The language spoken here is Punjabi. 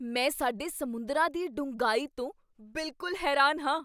ਮੈਂ ਸਾਡੇ ਸਮੁੰਦਰਾਂ ਦੀ ਡੂੰਘਾਈ ਤੋਂ ਬਿਲਕੁਲ ਹੈਰਾਨ ਹਾਂ!